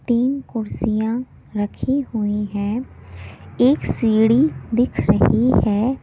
तीन कुर्सियां रखी हुई हैं एक सीढ़ी दिख रही है।